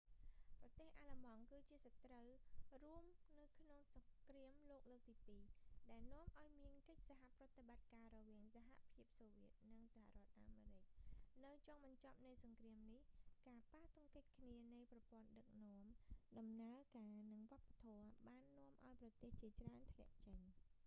ប្រទេសអាល្លឺម៉ង់ គឺជាសត្រូវរួមនៅក្នុងសង្រ្គាមលោកលើកទី 2 ដែលនាំឱ្យមានកិច្ចសហប្រតិបត្តិការរវាងសហភាពសូវៀត ussr និងសហរដ្ឋអាមេរិក នៅចុងបញ្ចប់នៃសង្គ្រាមនេះ ការប៉ះទង្គិចគ្នានៃប្រព័ន្ធដឹកនាំ ដំណើរការ និងវប្បធម៌ បាននាំឱ្យប្រទេសជាច្រើនធ្លាក់ចេញ